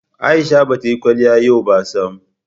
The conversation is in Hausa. Aisha ba ta yi kwaliya yau ba sam.